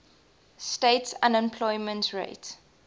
states unemployment rate